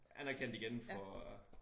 Anerkendt igen for